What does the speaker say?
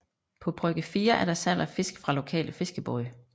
På brygge 4 er der salg af fisk fra lokale fiskebåde